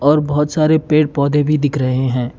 और बहुत सारे पेड़ पौधे भी दिख रहे हैं।